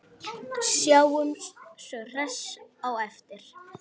Sjáumst svo hressir á eftir.